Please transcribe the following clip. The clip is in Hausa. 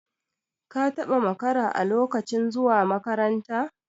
ka taba makara a lokacin zuwa makaranta?